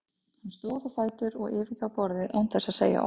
Hann stóð á fætur og yfirgaf borðið án þess að segja orð.